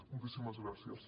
moltíssimes gràcies